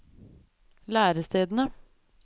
lærestedene